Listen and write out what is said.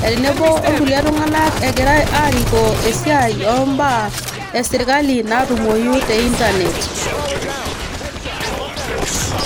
tenebo orkulie tunganak egira arikoo esiaai esirkali ombaa natumoyu te internet.